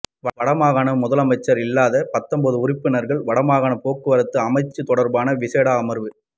வடமாகாண முதலமைச்சர் இல்லாது பத்தொன்பது உறுப்பினர்களுடன் வடமாகாண போக்குவரத்து அமைச்சு தொடர்பான விசேட அமர்வு